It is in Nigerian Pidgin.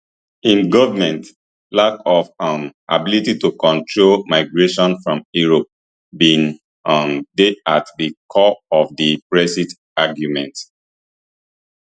im goment lack of um ability to control migration from europe bin um dey at di core of di brexit argument